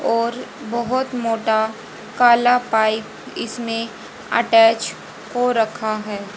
और बहोत मोटा कला पाइप इसमें अटैच हो रखा है।